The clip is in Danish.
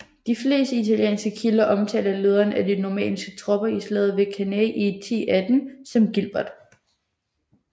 De fleste italienske kilder omtaler lederen af de normanniske tropper i slaget ved Cannae i 1018 som Gilbert